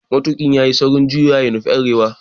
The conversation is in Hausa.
Matuƙin yayi saurin juyowa ya nufi arewa